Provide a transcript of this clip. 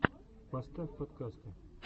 поставь подкасты